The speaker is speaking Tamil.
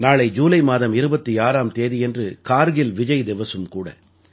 நாளை ஜூலை மாதம் 26ஆம் தேதியன்று கார்கில் விஜய் திவஸும் கூட